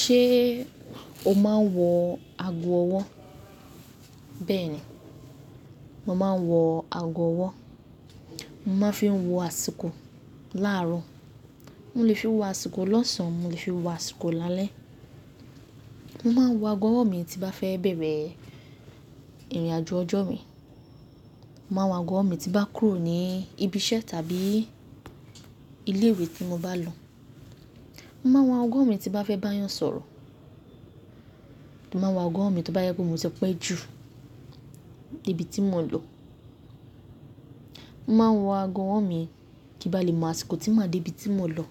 Ṣé o máa ń wọ ago ọwọ́? Bẹ́ẹ̀ ni, mo máa ń wọ ago ọwọ́. Mo máa ń fi wọ àsìkò láàárọ̀. Mo lè fi wọ àsìkò lọ́sàn án, mo lè fi wọ àsìkò lálẹ́. Mo máa ń wọ ago ọwọ́ mi tí bá fẹ́ bẹ̀rẹ̀ ìrìnàjò ọjọ́ mi. Mo máa ń wọ ago ọwọ́ mi tí bá kúrò ní ibi iṣẹ́ tàbí ilé ìwé tí mo bá lọ. Mo máa ń wọ ago ọwọ́ mi tí bá fẹ́ bá eyan sọ̀rọ̀. Mo máa ń wọ ago ọwọ́ mi tí ó bá yẹ pé mo ti pẹ́ ju debi tí mò ń lọ. Mo máa ń wọ ago ọwọ́ mi kí bá lè mọ àsìkò tí màá dé ibi tí mò ń lọ